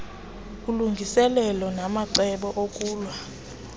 ulungiselelo namacebo okulwa